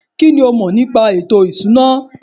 kínní o mọ̀ nípa ètò ìṣúná?